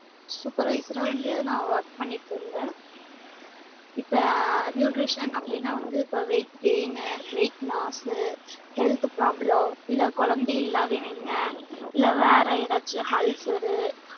supervisor வந்து நா work பண்ணிட்டு இருந்தன் இப்ப nutrition அப்டினா வந்து இப்ப weight gain னு weight loss health problem ம் இல்ல குழந்தை இல்லாத விங்க இல்ல வேற ஏதாச்சு ulcer